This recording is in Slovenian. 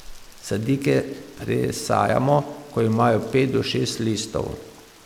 Sadike presajamo, ko imajo pet do šest listov.